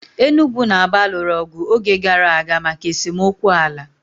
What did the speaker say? Enugwu na Aba lụrụ ọgụ oge gara aga maka esemokwu ala.